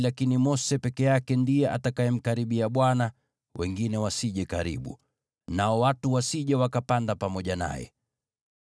lakini Mose peke yake ndiye atakayemkaribia Bwana ; wengine wasije karibu. Nao watu wasije wakapanda pamoja naye.”